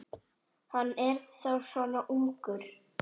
Hann er þá svona ungur.